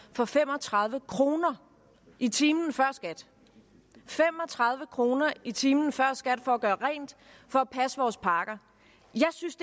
for fem og tredive kroner i timen før skat fem og tredive kroner i timen før skat for at gøre rent for at passe vores parker jeg synes